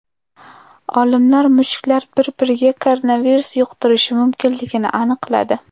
Olimlar mushuklar bir-biriga koronavirus yuqtirishi mumkinligini aniqladi.